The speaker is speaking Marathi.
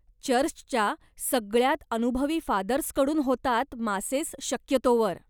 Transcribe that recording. चर्चच्या सगळ्यात अनुभवी फादर्स कडून होतात मासेस शक्यतोवर.